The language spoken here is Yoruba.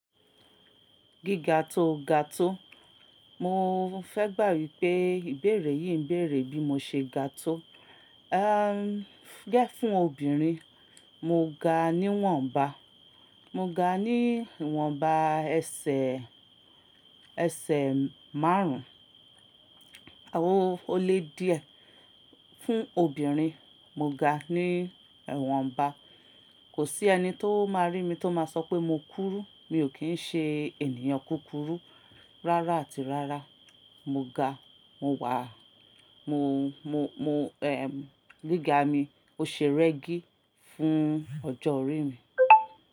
Gíga tó ga tó. Mo fẹ́ gbà wípé ìbéèrè yìí ń béèrè bí mo ṣe ga tó. Ehn, gẹ́ fún obìnrin, mo ga ní ìwọ̀nba, mo ga ní ìwọ̀nba ẹsẹ̀, ẹsẹ̀ márùn ún, àwò olè díẹ̀. Fún obìnrin, mo ga ní ìwọ̀nba. Kò sí ẹni tó máa rí mi tó máa sọ pé mo kúrú. Mi ò kí n ṣe ènìyàn kúkúrú. Rárá àti rárá. Mo ga, mo wà, mo, mo, mo, ehn, gíga mi. O ṣe rẹ́gí fún ọjọ́ orí mi.